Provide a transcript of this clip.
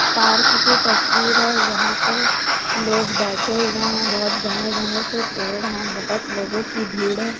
Park की तस्वीर है यहाँ पे लोग बैठे हुए हैं बहोत घने घने से पेड़ हैं बहोत लोगो की भीड़ हैं।